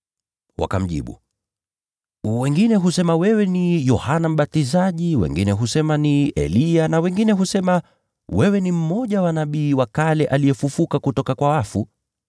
Wakamjibu, “Baadhi husema wewe ni Yohana Mbatizaji, wengine husema ni Eliya, na bado wengine husema kwamba ni mmoja wa manabii wa kale amefufuka kutoka kwa wafu.”